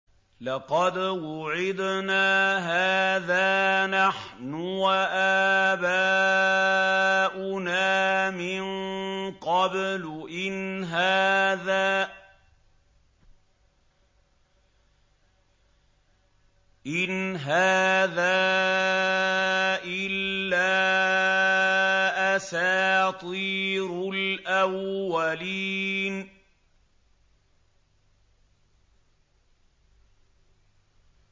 لَقَدْ وُعِدْنَا هَٰذَا نَحْنُ وَآبَاؤُنَا مِن قَبْلُ إِنْ هَٰذَا إِلَّا أَسَاطِيرُ الْأَوَّلِينَ